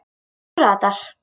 Þú ratar.